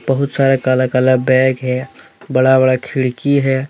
बहुत सारे काला काला बैग है बड़ा बड़ा खिड़की है।